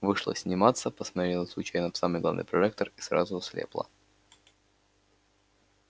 вышла сниматься посмотрела случайно в самый главный прожектор и сразу ослепла